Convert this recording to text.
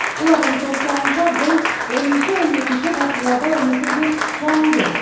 олардың топшылауынша бұл оныншы он екінші ғасырларда өмір сүрген жауынгер